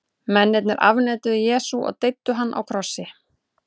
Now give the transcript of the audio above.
Mennirnir afneituðu Jesú og deyddu hann á krossi.